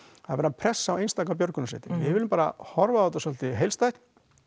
er verið að pressa á einstaka björgunarsveitir við viljum bara horfa á þetta svolítið heilstætt